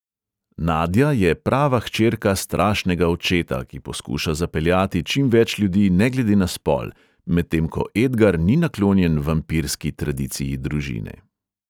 Nadja je prava hčerka strašnega očeta, ki poskuša zapeljati čim več ljudi ne glede na spol, medtem ko edgar ni naklonjen vampirski tradiciji družine.